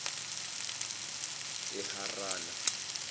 eharana